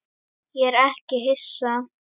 Ég er ekki hissa.